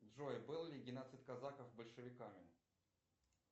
джой был ли геноцид казаков большевиками